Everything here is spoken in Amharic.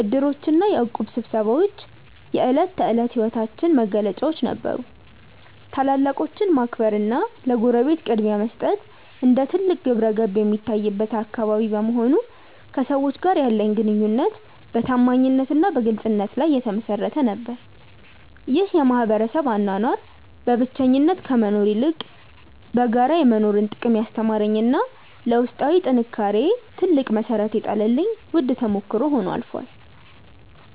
ዕድሮችና የእቁብ ስብሰባዎች የዕለት ተዕለት ሕይወታችን መገለጫዎች ነበሩ። ታላላቆችን ማክበርና ለጎረቤት ቅድሚያ መስጠት እንደ ትልቅ ግብረገብ የሚታይበት አካባቢ በመሆኑ፣ ከሰዎች ጋር ያለኝ ግንኙነት በታማኝነትና በግልጽነት ላይ የተመሠረተ ነበር። ይህ የማኅበረሰብ አኗኗር በብቸኝነት ከመኖር ይልቅ በጋራ የመኖርን ጥቅም ያስተማረኝና ለውስጣዊ ጥንካሬዬ ትልቅ መሠረት የጣለልኝ ውድ ተሞክሮ ሆኖ አልፏል።